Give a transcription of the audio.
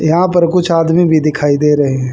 यहां पर कुछ आदमी भी दिखाई दे रहे है।